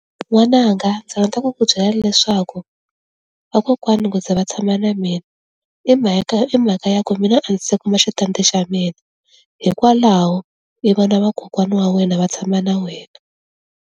N'wananga ndzi rhandza ku ku byela leswaku vakokwana ku za va tshama na mina i mhaka i mhaka ya ku mina a ndzi se kuma xitandi xa mina hikwalaho i vona vakokwana wa wena va tshama na wena.